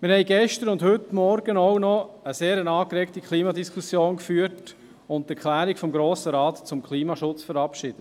Wir haben gestern und heute Morgen auch noch eine sehr angeregte Klimadiskussion geführt und die Erklärung des Grossen Rates zum Klimaschutz verabschiedet.